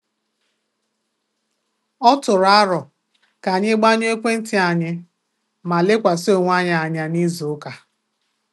Ọ tụrụ arọ ka anyị gbanyuo ekwentị anyi ma lekwasị onwe anyị anya n'izu ụka